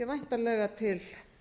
væntanlega til